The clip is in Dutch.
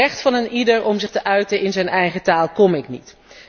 Aan het recht van eenieder om zich te uiten in zijn eigen taal raak ik niet.